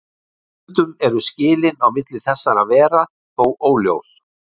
Stundum eru skilin á milli þessara vera þó óljós.